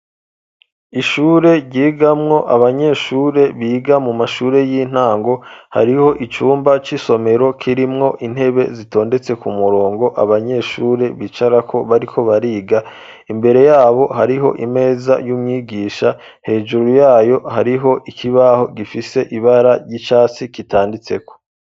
ishure ryigamwo abanyeshure biga mu mashure y'intango hariho icumba c,isomero kirimwo intebe zitondetse ku murongo abanyeshure bicarako bariko bariga imbere yabo hariho imeza y'umwigisha hejuru yaho hariho ikibaho gifise ibara ry'icatsi kitanditseko.